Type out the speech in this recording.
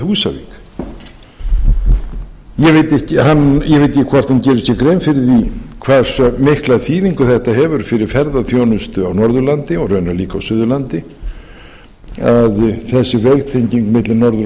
húsavík ég veit ekki hvort hann gerir sér grein fyrir því hversu mikla þýðingu þetta hefur fyrir ferðaþjónustu á norðurlandi og raunar líka suðurlandi að þessi vegtenging milli norður og